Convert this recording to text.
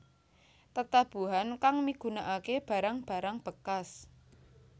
Tetabuhan kang migunakake barang barang bekas